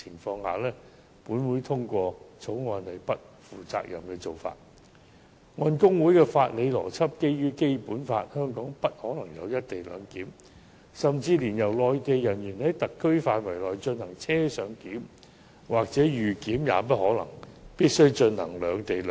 按大律師公會的法理邏輯，基於《基本法》，香港不可能有"一地兩檢"，甚至連內地人員在特區範圍內進行"車上檢"或"預檢"也不可能，而必須進行"兩地兩檢"。